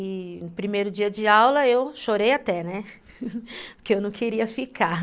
E no primeiro dia de aula, eu chorei até, né, porque eu não queria ficar.